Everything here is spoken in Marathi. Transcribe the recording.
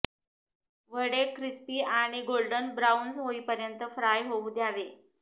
वडे क्रिस्पी आणि गोल्डन ब्राउन होईपर्यंत फ्राय होऊ द्यावे